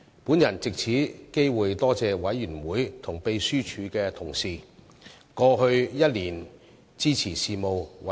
我藉此機會感謝委員和秘書處同事在過去一年支持事務委員會的工作。